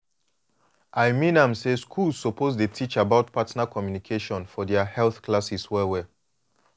i mean am say schools suppose teach about partner communication for their health classes well well